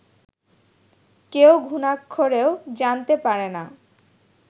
কেউ ঘুণাক্ষরেও জানতে পারে না